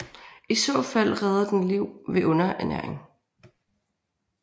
I så fald redder den liv ved underernæring